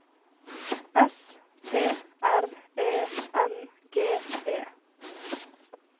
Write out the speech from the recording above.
S P R E N G E